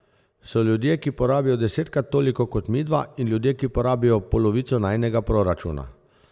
So ljudje, ki porabijo desetkrat toliko kot midva, in ljudje, ki porabijo polovico najinega proračuna.